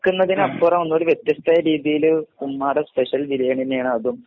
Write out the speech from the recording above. വെക്കുന്നതിനപ്പുറം ഒന്നുല്ലെങ്കിൽ വ്യത്യസ്ഥമായ രീതിയില് ഉമ്മാടെ സ്‌പെഷ്യൽ ബിരിയാണി തന്നെയാണതും.